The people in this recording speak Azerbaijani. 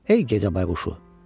Ey gecə bayquşu!